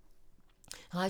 Radio 4